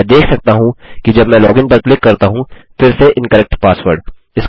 मैं देख सकता हूँ कि जब मैं लोगिन पर क्लिक करता हूँ फिर से इनकरेक्ट पासवर्ड